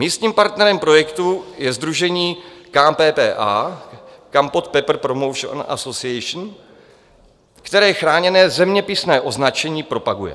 Místním partnerem projektu je sdružení KPPA, Kampot Pepper Promotion Association, které chráněné zeměpisné označení propaguje.